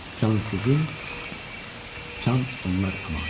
Can sizin, can onlar əmanəti.